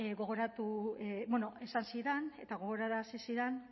esan zidan eta gogorarazi zidan